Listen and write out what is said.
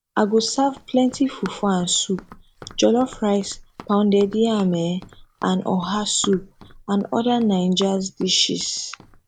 i go serve plenty fufu and soup jollof rice pounded yam um and oha soup and oda naijas dishes